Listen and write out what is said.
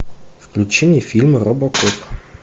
включи мне фильм робокоп